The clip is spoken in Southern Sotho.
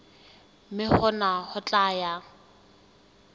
mme hona ho tla ya